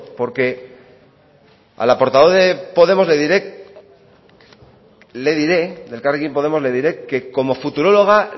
porque a la portavoz de podemos le diré de elkarrekin podemos le diré que como futuróloga